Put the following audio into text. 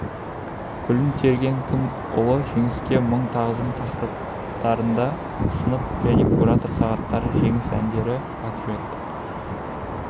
гүлін терген күн ұлы жеңіске мың тағзым тақырыптарында сынып және куратор сағаттары жеңіс әндері патриоттық